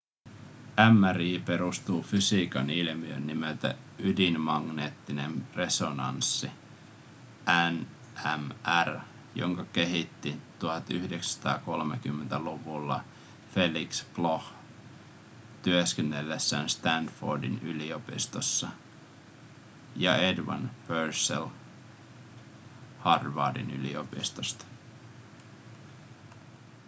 mri perustuu fysiikan ilmiöön nimeltä ydinmagneettinen resonanssi nmr jonka löysivät 1930-luvulla felix bloch työskennellessään stanfordin yliopistossa ja edward purcell harvardin yliopistosta